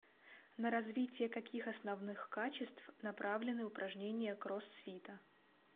на развитие каких основных качеств направлены упражнения кроссфита